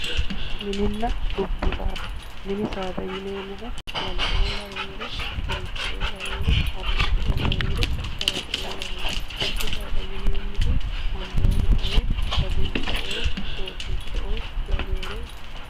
mininna dubbu saada mini saada yineemmohu lalo''oo laweere gerecho''oo laweere harricho''oo laweere farado''oo laweri dubbu saada yineemmori amboomaoo daguncho''oo doobbicho''oo laweeri.